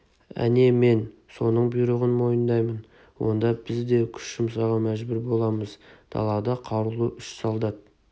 әне мен соның бұйрығын мойындаймын онда біз де күш жұмсауға мәжбүр боламыз далада қарулы үш солдат